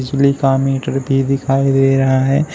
बिजली का मीटर भी दिखाई दे रहा है।